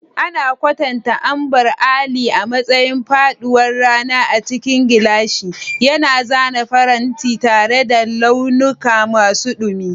An kwatanta Ambar Alli a matsayin faɗuwar rana a cikin gilashi, yana zana farantin tare da launuka masu dumi.